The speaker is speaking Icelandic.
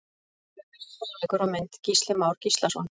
Frekari fróðleikur og mynd: Gísli Már Gíslason.